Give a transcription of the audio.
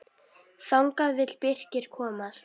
Þangað vill Birkir komast.